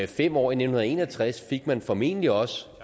fem år i nitten en og tres fik man formentlig også